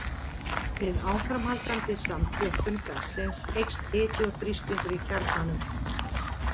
Við áframhaldandi samþjöppun gassins eykst hiti og þrýstingur í kjarnanum.